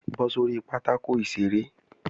Bọ́ sórí pátákò ìṣeré!